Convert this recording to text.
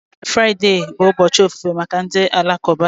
Friday bụ ụbọchị ofufe maka ndị Alakụba